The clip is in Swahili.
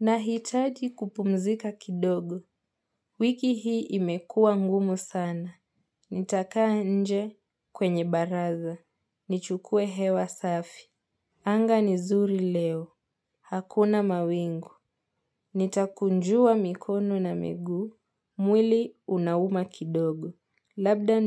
Nahitaji kupumzika kidogo. Wiki hii imekuwa ngumu sana. Nitakaa nje kwenye baraza. Nichukue hewa safi. Anga ni zuri leo. Hakuna mawingu. Nitakunjua mikono na miguu. Mwili unauma kidogo. Labda